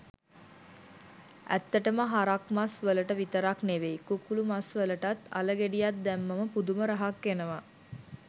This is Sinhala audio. ඇත්තටම හරක් මස් වලට විතරක් නෙවෙයි කුකුළු මස් වලටත් අල ගෙඩියක් දැම්මම පුදුම රහක් එනවා